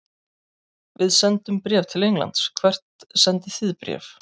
Við sendum bréf til Englands. Hvert sendið þið bréf?